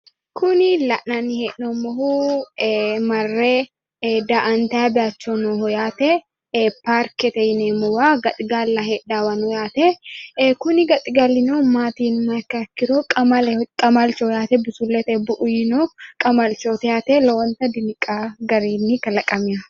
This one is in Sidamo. kuni la'nanni hee'noommohu marre daa'antanni bayiicho nooho yaate parkete yineemmowa gaxigalla heedhannowa heeranno yaate kuni gaxigalino maati yinummoha ikkiha ikkiro qamaleho qamalcho yaate busulletenni bu'u yiino qamalchooti yaae lowonta diniqaa garinni kalaqameeho.